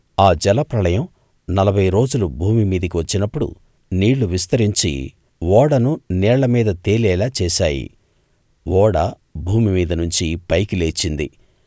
ఆ జలప్రళయం నలభై రోజులు భూమి మీదికి వచ్చినప్పుడు నీళ్ళు విస్తరించి ఓడను నీళ్ళ మీద తేలేలా చేశాయి ఓడ భూమి మీద నుంచి పైకి లేచింది